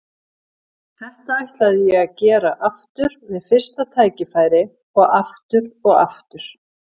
Þetta ætlaði ég að gera aftur við fyrsta tækifæri- og aftur og aftur!